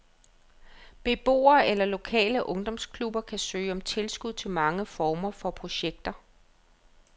Beboere eller lokale ungdomsklubber kan søge om tilskud til mange former for projekter.